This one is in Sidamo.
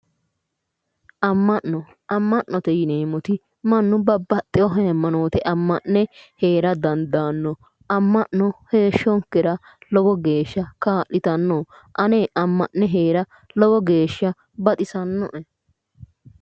amma'no amma'note yineemmoti mannu babbaxitino hayimanote amma'ne heera daandaanno amma'no heeshshonkera lowo geeshsha kaa'litanno ane amma'ne heera lowo geeshsha baxisannoe.